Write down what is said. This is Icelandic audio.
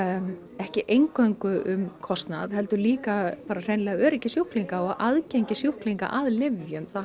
ekki eingöngu um kostnað heldur líka öryggi sjúklinga og aðgengi sjúklinga að lyfjum það